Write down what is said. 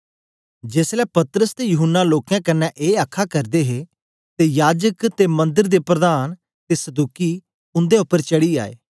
जेसलै पतरस ते यूहन्ना लोकें कन्ने ए आखा करदे हे तां याजकें ते मंदर दे प्रधान ते सदूकी उंदे उपर चढ़ी आए